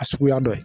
A suguya dɔ ye